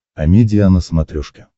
амедиа на смотрешке